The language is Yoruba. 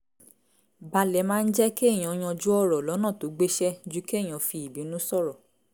balẹ̀ máa ń jẹ́ kéèyàn yanjú ọ̀rọ̀ lọ́nà tó gbéṣẹ́ ju kéèyàn fi ìbínú sọ̀rọ̀